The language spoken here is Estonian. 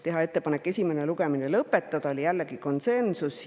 Teha ettepanek esimene lugemine lõpetada – oli jällegi konsensus.